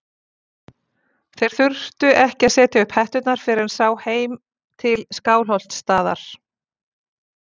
Þeir þurftu ekki að setja upp hetturnar fyrr en sá heim til Skálholtsstaðar.